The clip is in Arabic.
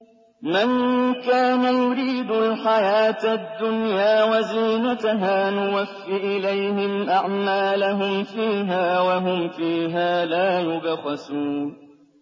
مَن كَانَ يُرِيدُ الْحَيَاةَ الدُّنْيَا وَزِينَتَهَا نُوَفِّ إِلَيْهِمْ أَعْمَالَهُمْ فِيهَا وَهُمْ فِيهَا لَا يُبْخَسُونَ